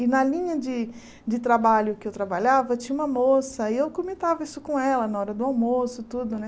E na linha de de trabalho que eu trabalhava, tinha uma moça, e eu comentava isso com ela na hora do almoço, tudo, né?